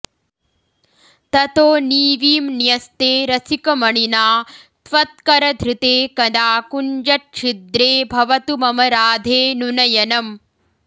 ततो नीवीं न्यस्ते रसिकमणिना त्वत्करधृते कदा कुञ्जच्छिद्रे भवतु मम राधेऽनुनयनम्